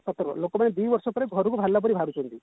ଲୋକମାନେ ଦି ବର୍ଷ ପରେ ଘରକୁ ବାହାରିଲା ପରେ ବାହାରୁଛନ୍ତି